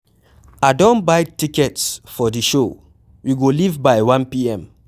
I don buy tickets for the show, we go leave by 1pm.